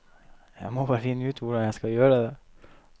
Jeg må bare finne ut hvordan jeg skal gjøre det.